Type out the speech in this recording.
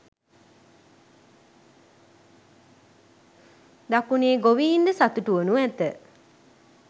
දකුණේ ගොවීන්ද සතුටුවනු ඇත